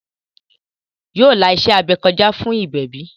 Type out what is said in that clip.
Yóò la iṣẹ́-abẹ kọjá fún ìgbẹ̀bí